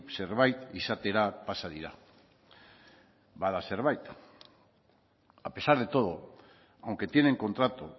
zerbait izatera pasa dira bada zerbait a pesar de todo aunque tienen contrato